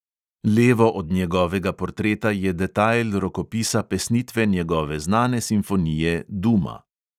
Levo od njegovega portreta je detajl rokopisa pesnitve njegove znane simfonije duma.